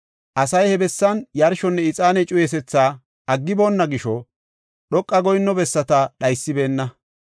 Asay he bessan yarshonne ixaane cuyisethi aggiboonna gisho, dhoqa goyinno bessata dhaysibeenna.